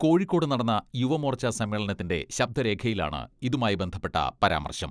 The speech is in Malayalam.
കോഴിക്കോട് നടന്ന യുവമോർച്ച സമ്മേളനത്തിന്റെ ശബ്ദരേഖയിലാണ് ഇതുമായി ബന്ധപ്പെട്ട പരാമർശം.